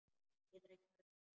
Geturðu ekki farið með þeim?